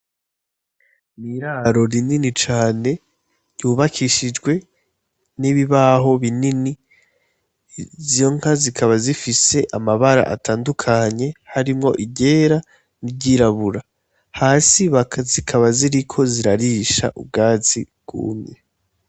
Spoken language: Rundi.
Iraro rinini cane ryubakishijwe n' ibibaho binini izo nka zikaba zifise amabara atandukanye harimwo iryera n' iryirabura hasi zikaba ziriko zirarisha ubwatsi bwumye.